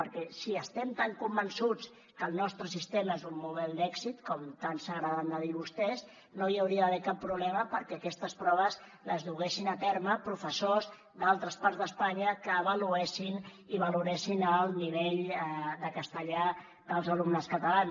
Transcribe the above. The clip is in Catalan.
perquè si estem tan convençuts que el nostre sistema és un model d’èxit com tant s’agraden de dir vostès no hi hauria d’haver cap problema perquè aquestes proves les duguessin a terme professors d’altres parts d’espanya que avaluessin i valoressin el nivell de castellà dels alumnes catalans